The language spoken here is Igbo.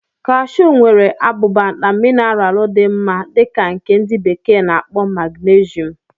Kashu nwere abụba na mineralu dị mma dị ka nke ndi bekee na-akpo magnesium.